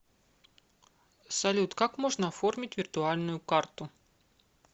салют как можно оформить виртуальную карту